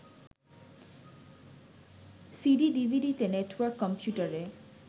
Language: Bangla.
সিডি/ডিভিডিতে, নেটওয়ার্ক কম্পিউটারে